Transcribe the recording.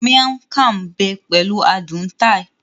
Miang kham bé pẹ̀lú adùn Thai